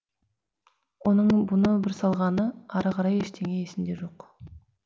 оның бұны бір салғаны ары қарай ештеңе есінде жоқ